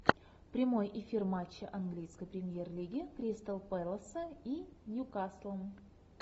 прямой эфир матча английской премьер лиги кристал пэласа и ньюкасла